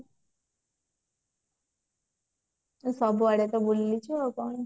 ତୁ ସବୁ ଆଡେ ତ ବୁଲି ଆଇଛୁ ଆଉ କଣ